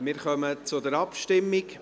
Wir kommen zur Abstimmung.